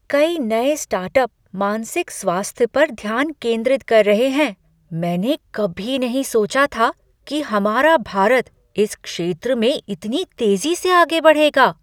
कई नए स्टार्टअप मानसिक स्वास्थ्य पर ध्यान केंद्रित कर रहे हैं। मैंने कभी नहीं सोचा था कि हमारा भारत इस क्षेत्र में इतनी तेजी से आगे बढ़ेगा।